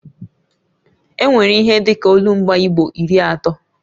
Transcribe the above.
E nwere ihe dịka olumba igbo iri atọ